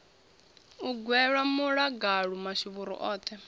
u gwela muḽagalu mashuvhuru oṱhe